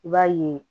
I b'a ye